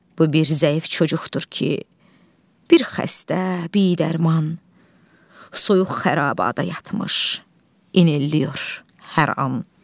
Bu bir zəif çocuqdur ki, bir xəstə, bidərman, soyuq xərabada yatmış inilliyir hər an.